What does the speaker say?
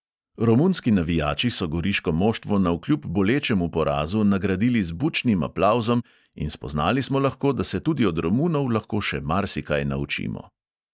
Romunski navijači so goriško moštvo navkljub bolečemu porazu nagradili z bučnim aplavzom in spoznali smo lahko, da se tudi od romunov lahko še marsikaj naučimo.